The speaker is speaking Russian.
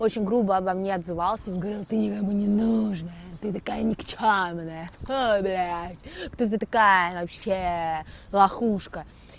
очень грубо обо мне отзывался говорил ты никому не нужная ты такая никчёмная фу блядь кто ты такая вообще лохушка